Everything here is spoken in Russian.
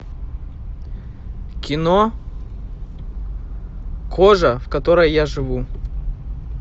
кино кожа в которой я живу